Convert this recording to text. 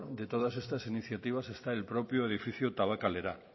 de todas estas iniciativas está el propio edificio tabakalera